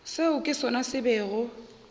seo ke sona se bego